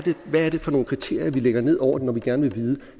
for nogle kriterier vi lægger ned over det når vi gerne vil vide